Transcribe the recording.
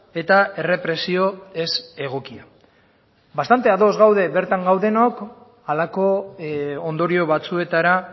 eta errepresio ezegokia bastante ados gaude bertan gaudenok halako ondorio batzuetara